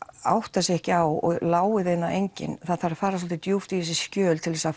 átta sig ekki á og láir þeim það enginn er það þarf að fara svolítið djúpt í þessi skjöl til þess að